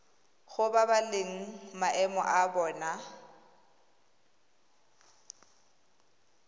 go babalela maemo a bona